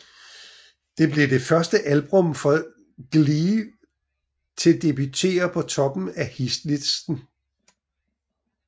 Det blev det første album fra Glee til debutere på toppen af hitlisten